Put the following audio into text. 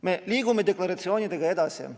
Me liigume deklaratsioonidega edasi.